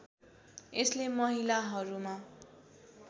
यसले महिलाहरूमा